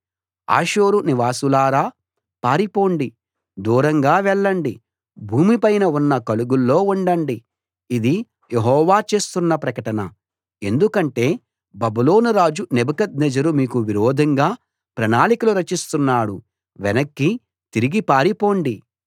హాసోరు నివాసులారా పారిపోండి దూరంగా వెళ్ళండి భూమి పైన ఉన్న కలుగుల్లో ఉండండి ఇది యెహోవా చేస్తున్న ప్రకటన ఎందుకంటే బబులోను రాజు నెబుకద్నెజరు మీకు విరోధంగా ప్రణాళికలు రచిస్తున్నాడు వెనక్కి తిరిగి పారిపోండి